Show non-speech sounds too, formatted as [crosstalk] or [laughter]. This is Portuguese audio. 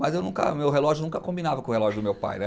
Mas eu nunca o meu relógio nunca combinava com o relógio do meu pai, [unintelligible]